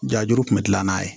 Jaju kun bɛ kila n'a ye